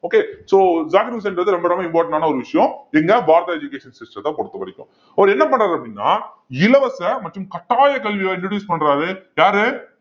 okay so Zakir உசேன்றது ரொம்ப ரொம்ப important ஆன ஒரு விஷயம் எங்க education system த்த பொறுத்தவரைக்கும் அவரு என்ன பண்றாரு அப்படின்னா இலவச மற்றும் கட்டாய கல்வியை introduce பண்றாரு யாரு